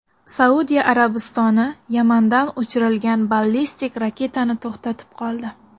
Saudiya Arabistoni Yamandan uchirilgan ballistik raketani to‘xtatib qoldi.